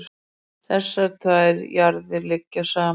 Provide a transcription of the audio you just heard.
Þessar tvær jarðir liggja saman.